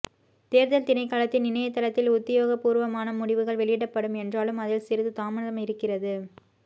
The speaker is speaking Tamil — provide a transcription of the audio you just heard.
தேர்தல் திணைக்களத்தின் இணையத்தளத்தில் உத்தியொகபூர்வமான முடிவுகள் வெளியிடப்படும் என்றாலும் அதில் சிறிது தாமதம் இருக்கிறது